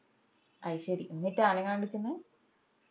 അയ്‌ശേരി എന്നിട്ടാ അനങ്ങാണ്ട് നിക്കുന്നെ